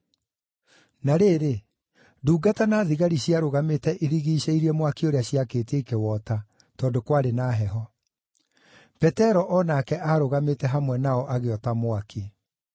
Na rĩrĩ, ndungata na thigari ciarũgamĩte irigiicĩirie mwaki ũrĩa ciakĩtie ikĩwota, tondũ kwarĩ na heho. Petero o nake aarũgamĩte hamwe nao agĩota mwaki.